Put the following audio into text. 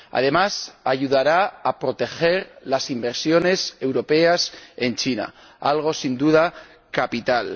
También ayudará a proteger las inversiones europeas en China, algo, sin duda, capital.